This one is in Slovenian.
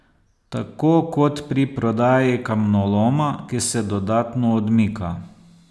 Tako kot pri prodaji kamnoloma, ki se dodatno odmika.